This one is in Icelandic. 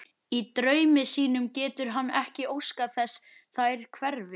Í draumi sínum getur hann ekki óskað þess þær hverfi.